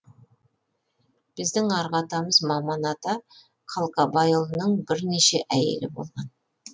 біздің арғы атамыз маман ата қалқабайұлының бірнеше әйелі болған